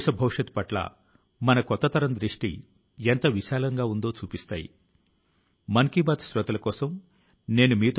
రెండోది ఆయన తన విజయోత్సవాల ను జరుపుకోవడానికి సమయం ఉన్నప్పుడు రాబోయే తరాల కోసం ఆలోచించారు